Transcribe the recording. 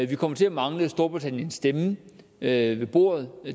vi kommer til at mangle storbritanniens stemme ved ved bordet